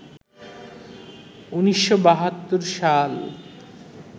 ১৯৭২ সাল